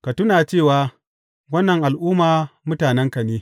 Ka tuna cewa wannan al’umma mutanenka ne.